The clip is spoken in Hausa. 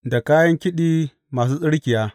Da kayan kiɗi masu tsirkiya.